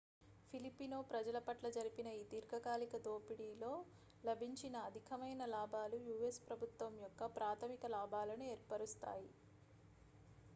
filipino ప్రజల పట్ల జరిపిన ఈ దీర్ఘకాలిక దోపిడీలో లభించిన అధికమైన లాభాలు u.s ప్రభుత్వం యొక్క ప్రాథమిక లాభాలను ఏర్పరుస్తాయి